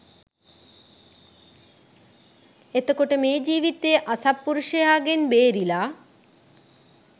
එතකොට මේ ජීවිතයේ අසත්පුරුෂයාගෙන් බේරිලා